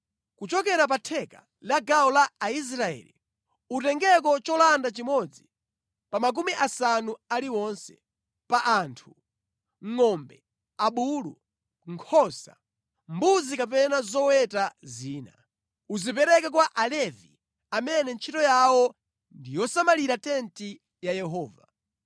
Kuchokera pa theka la gawo la Aisraeli, utengeko cholanda chimodzi pa makumi asanu aliwonse, pa anthu, ngʼombe, abulu, nkhosa, mbuzi kapena zoweta zina. Uzipereke kwa Alevi amene ntchito yawo ndi yosamalira tenti ya Yehova.”